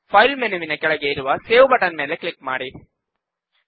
file ಮೆನುವಿನ ಕೆಳಗೆ ಇರುವ ಸೇವ್ ಬಟನ್ ಮೇಲೆ ಕ್ಲಿಕ್ ಮಾಡಿ